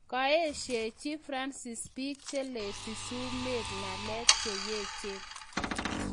Kaeshachi Fransis biik cheleti sumek ng'alek cheyachen